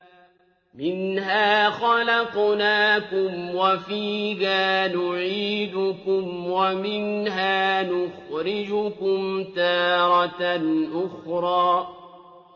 ۞ مِنْهَا خَلَقْنَاكُمْ وَفِيهَا نُعِيدُكُمْ وَمِنْهَا نُخْرِجُكُمْ تَارَةً أُخْرَىٰ